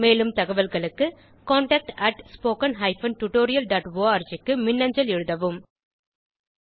மேலும் தகவல்களுக்கு contactspoken tutorialorg க்கு மின்னஞ்சல் எழுதவும்